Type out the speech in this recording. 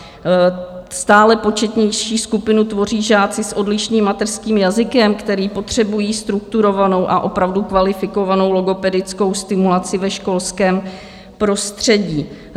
Stále početnější skupinu tvoří žáci s odlišným mateřským jazykem, který potřebují strukturovanou a opravdu kvalifikovanou logopedickou stimulaci ve školském prostředí.